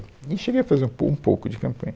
E cheguei a fazer um pou, um pouco de campanha.